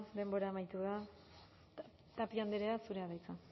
denbora amaitu da tapia andrea zurea da hitza